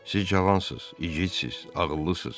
Siz cavansız, igidsiz, ağıllısız.